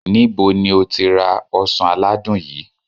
nibo ni o ti ra osan aladun yii?